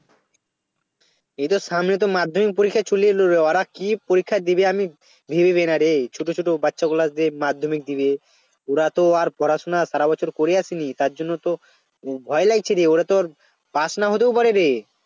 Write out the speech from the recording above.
এইতো সামনে তো মাধ্যমিক পরীক্ষা চলে এলরে ওরা কি পরীক্ষা দেবে আমি ভেবে পাই না রে ছোট ছোট বাচ্চাগুলা যে মাধ্যমিক দেবে ওরা তো আর পড়াশোনা সারাবছর করে আসে নি তার জন্য তো ভয় লাগছে রে ওরা তোর পাশ নাও হতে পারে রে